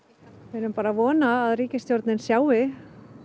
við erum bara að vona að ríkisstjórnin sjái